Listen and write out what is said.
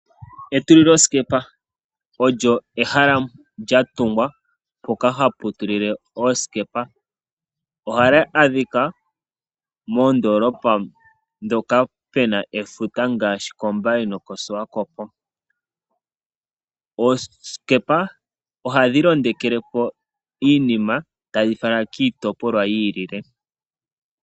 Etulilosikepa olyo ehala lyatungwa mpoka ha pu tulile oosikepa ,ohali adhika moondoolopa ndhoka pe na efuta ngaashi mombaye nomoshiwakopo .Oosikepa ohadhi londekelepo iinima tadhi fala kiitopolwa yi ilile .